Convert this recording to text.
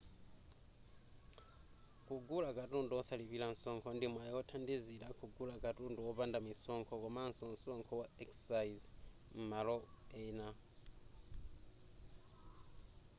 kugula katundu osalipira msonkho ndi mwayi othandizira kugula katundu wopanda misonkho komanso msonkho wa excise m'malo ena